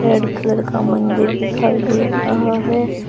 Red colour का मंदिर दिखाई दे रहा है।